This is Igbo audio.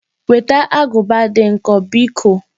Weta agụba dị nkọ biko!